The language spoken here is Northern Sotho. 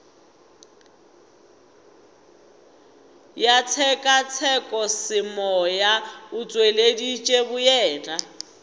ya tshekatshekosemoya o tšweleditše boyena